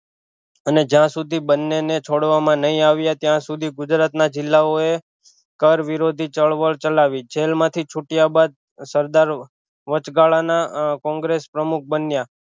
અને જ્યાં સુધી બંને ને છોડવામાં નહિ આવીએ ત્યાં સુધી ગુજરાત ના જિલ્લાઓએ કર વિરોધી ચળવળ ચલાવી જેલ માંથી છૂટયા બાદ સરદાર વચગાળા ના કોંગ્રેસ પ્રમુખ બન્યા